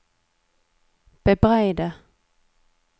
bebreide